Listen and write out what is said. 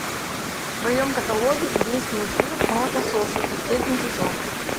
в твоем каталоге есть мультфильм молокососы последний сезон